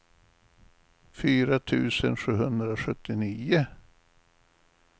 fyra tusen sjuhundrasjuttionio